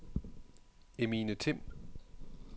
Emine Timm